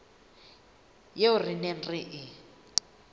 eo re neng re e